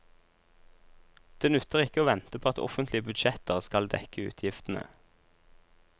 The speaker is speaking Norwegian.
Det nytter ikke å vente på at offentlige budsjetter skal dekke utgiftene.